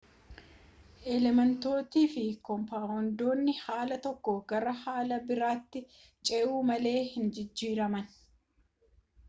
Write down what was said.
elementoonniifi koompaawondiiwwan haala tokkoo gara haala biraatti ce'u malee hin jijjiiraman